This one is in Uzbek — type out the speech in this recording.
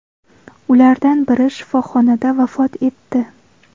Ulardan biri shifoxonada vafot etdi.